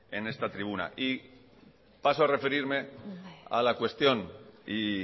en esta tribuna y paso a referirme a la cuestión y